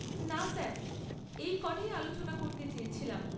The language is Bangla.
না স্যার, এই ক'টাই আলোচনা করতে চেয়েছিলাম।